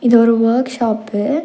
இது ஒரு workshop .